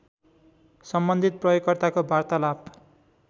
सम्बन्धित प्रयोगकर्ताको वार्तालाप